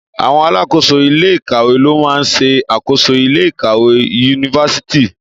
Àwon alakoso ile-ikawe lo maa n se akoso ile-ikawe Yunifásítì